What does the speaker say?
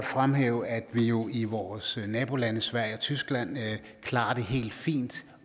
fremhæve at man jo i vores nabolande sverige og tyskland klarer det helt fint